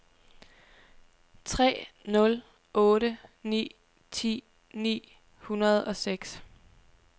tre nul otte ni ti ni hundrede og seks